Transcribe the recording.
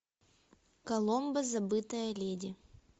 коломбо забытая леди